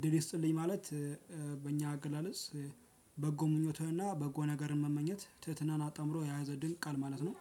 እድል ይስጥልኝ ማለት በእኛ አገላለጽ በጎ ምኞትህና በጎ ነገርን መመኘት ትህትናን አጣምሮ የያዘ ድንቅ ቃል ማለት ነው።